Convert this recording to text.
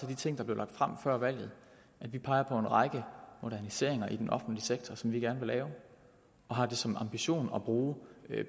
de ting der blev lagt frem før valget at vi peger på en række moderniseringer i den offentlige sektor som vi gerne vil lave og har det som ambition at bruge